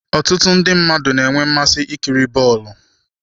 Ọtụtụ ndị mmadụ na-enwe mmasị ikiri bọọlụ.